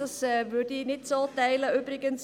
Ich teile diese Meinung nicht.